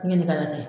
N ye ne ka taa